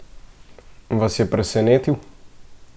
Vas je presenetil?